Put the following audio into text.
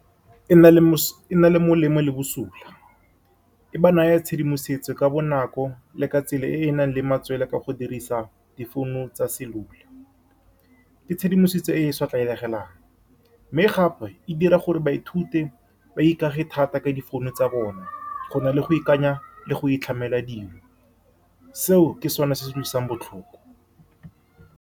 E na le , e na le molemo le bosula. E ba naya tshedimosetso ka bonako le ka tsela e e nang le . Ka go dirisa difouno tsa cellular ke tshedimosetso e e sa tlwaelegang, mme gape e dira gore ba ithute ba ikaegile thata ka difounu tsa bone go na le go ikanya le go itlhamela dingwe, seo ke sone se se utlwisang botlhoko.